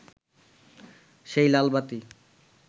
সেই লালবাতি